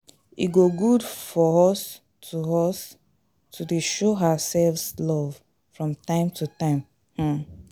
E go good for us to us to dey show ourselves love from time to time um